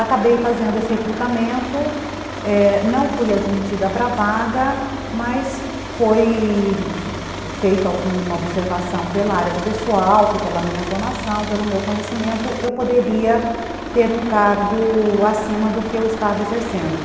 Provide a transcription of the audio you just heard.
Acabei fazendo esse recrutamento, não fui admitida para a vaga, mas foi feita uma observação pela área de pessoal, que pela minha formação, pelo meu conhecimento, eu poderia ter um cargo acima do que eu estava exercendo.